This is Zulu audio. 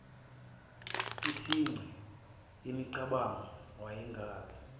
yisinxe semicabango wayengazi